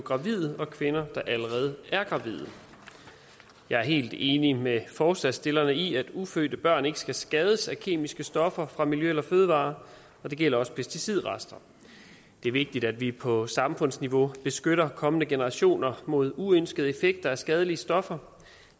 gravide og kvinder der allerede er gravide jeg er helt enig med forslagsstillerne i at ufødte børn ikke skal skades af kemiske stoffer fra miljø eller fødevarer og det gælder også pesticidrester det er vigtigt at vi på samfundsniveau beskytter kommende generationer mod uønskede effekter af skadelige stoffer